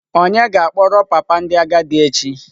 Onye ga-akpọrọ papa ndị agadi echi?